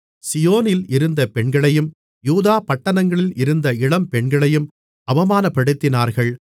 சீயோனில் இருந்த பெண்களையும் யூதா பட்டணங்களில் இருந்த இளம்பெண்களையும் அவமானப்படுத்தினார்கள்